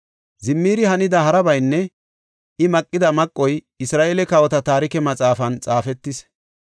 Zimiri hanida harabaynne I maqida maqoy Isra7eele Kawota Taarike Maxaafan xaafetis.